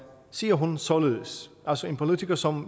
siger hun således altså en politiker som